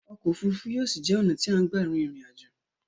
Ọkò òfurufú yóò ṣi jé ọ̀nà tí a ń gbà rin ìrìn aj̀ò.